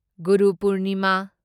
ꯒꯨꯔꯨ ꯄꯨꯔꯅꯤꯃꯥ